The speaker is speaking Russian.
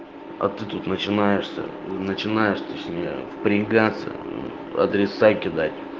а ты тут начинаешься начинаешь точнее впрягаться адреса кидать